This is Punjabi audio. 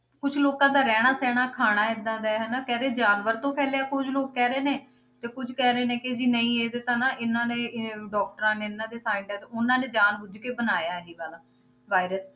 ਕੁਛ ਲੋਕਾਂ ਦਾ ਰਹਿਣਾ ਸਹਿਣਾ ਖਾਣਾ ਏਦਾਂ ਦਾ ਹੈ ਹਨਾ ਕਹਿੰਦੇ ਜਾਨਵਰ ਤੋਂ ਫੈਲਿਆ ਕੁੱਝ ਲੋਕ ਕਹਿ ਰਹੇ ਨੇ, ਤੇ ਕੁੱਝ ਕਹਿ ਰਹੇ ਨੇ ਕਿ ਜੀ ਨਹੀਂ ਇਹ ਤਾਂ ਨਾ ਇਹਨਾਂ ਨੇ ਇਹ doctors ਨੇ ਇਹਨਾਂ ਦੇ scientist ਉਹਨਾਂ ਨੇ ਜਾਣਬੁੱਝ ਕੇ ਬਣਾਇਆ ਇਹ ਵਾਲਾ virus